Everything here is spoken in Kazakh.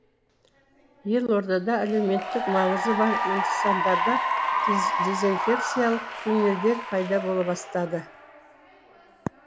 елордада әлеуметтік маңызы бар нысандарда дезинфекциялық туннельдер пайда бола бастады